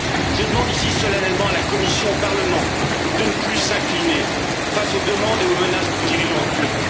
Je demande ici solennellement à la Commission et au Parlement de ne plus s'incliner face aux demandes et aux menaces du dirigeant turc.